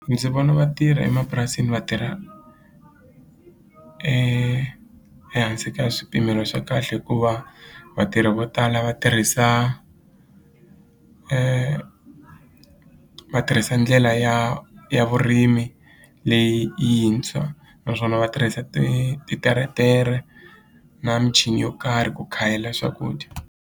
Ndzi vona vatirhi emapurasini va tirha ehansi ka swipimelo swa kahle hikuva vatirhi vo tala va tirhisa e va tirhisa ndlela ya ya vurimi leyintshwa naswona va tirhisa ti titeretere na michini yo karhi ku khayela swakudya.